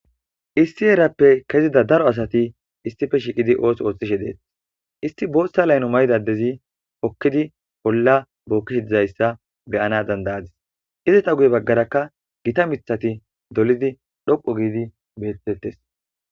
issi heerappe kezida daro asati issippe shiiqidi ooso ooththishe deet isti boothta layno maydadezi okkidi bolla bookkish dizayssa beyana dandayadis izata guye baggarakka gita mithati dolidi dhoqo giidi bettettes